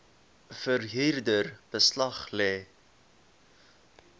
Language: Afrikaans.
verhuurder beslag lê